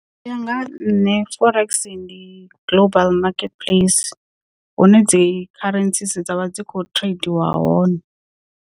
Uya nga ha nṋe forex ndi global market place hune dzi kharentsi dzavha dzi kho tradiwa hone.